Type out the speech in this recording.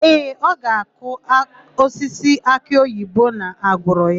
Ee, ọ ga-akụ osisi akịoyibo na ngwuru ya.